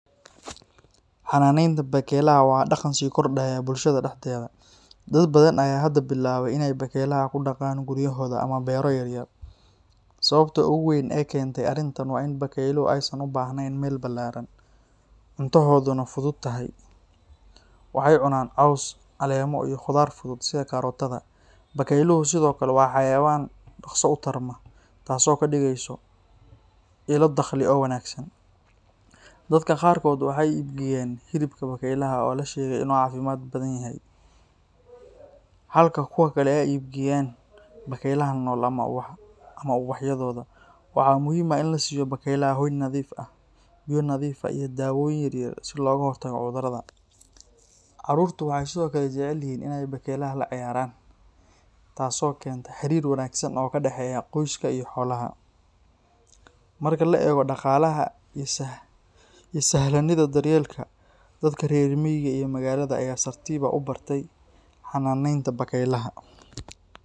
Xanaanaynta bakaylaha waa dhaqan sii kordhaya bulshada dhexdeeda. Dad badan ayaa hadda bilaabay inay bakaylaha ku dhaqaan guryahooda ama beero yaryar. Sababta ugu weyn ee keentay arrintan waa in bakayluhu aysan u baahnayn meel ballaaran, cuntohooduna fudud tahay. Waxay cunaan caws, caleemo, iyo khudaar fudud sida karootada. Bakayluhu sidoo kale waa xayawaan dhaqso u tarma, taasoo ka dhigaysa ilo dakhli oo wanaagsan. Dadka qaarkood waxay iibgeeyaan hilibka bakaylaha oo la sheegay inuu caafimaad badan yahay, halka kuwa kalena ay iib geeyaan bakaylaha nool ama ubaxyadooda. Waxaa muhiim ah in la siiyo bakaylaha hoy nadiif ah, biyo nadiif ah iyo daawooyin yar yar si looga hortago cudurrada. Carruurtu waxay sidoo kale jecel yihiin inay bakaylaha la ciyaaraan, taasoo keenta xiriir wanaagsan oo ka dhexeeya qoyska iyo xoolaha. Marka la eego dhaqaalaha iyo sahlanida daryeelka, dadka reer miyiga iyo magaalada ayaa si tartiib ah u bartay xanaanaynta bakaylaha.